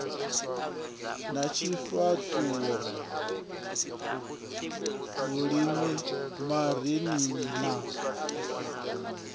ya tshifhaṱuwo lulimi marinini na